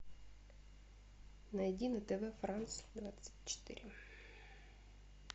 найди на тв франц двадцать четыре